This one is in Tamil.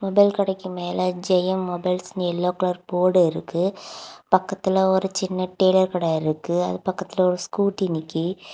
மொபைல் கடைக்கு மேல ஜெயம் மொபைல்ஸ்ன்னு எல்லோ கலர் போர்ட் இருக்கு பக்கத்துல ஒரு சின்ன டயலர் கட இருக்கு அது பக்கத்துல ஒரு ஸ்கூட்டி நிக்கி.